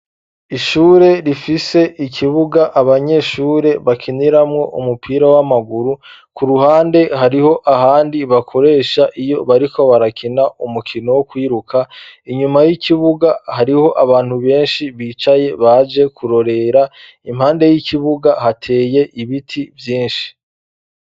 Ishure rifise ikibuga abanyeshure bakiniramwo umupira w'amaguru, ku ruhande hariho ahandi bakoresha iyo bariko barakina umukino wo kwiruka, inyuma y'ikibuga hariho abantu benshi bicaye, baje kurorera, impande y'ikibuga hateye ibiti vyinshi.